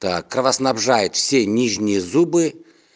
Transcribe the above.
так кровоснабжает все нижние зубы